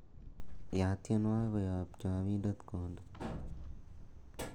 yaat tienwogik koyob chopindet konde